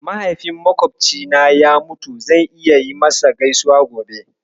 Mahaifin maƙwofcina ya mutu, zan yi masa gaisuwa gobe.